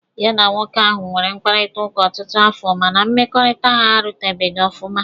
Ya na nwoke ahụ nwere mkpakọrịta ọtụtụ afọ mana mmekọrịta ha arụpụtaghị ọfụma